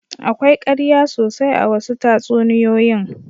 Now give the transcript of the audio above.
Akwai ƙarya sosai a wasu tatsuniyoyin.